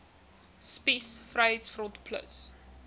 spies vryheids front plus